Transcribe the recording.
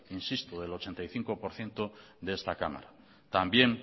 insisto del ochenta y cinco por ciento de esta cámara también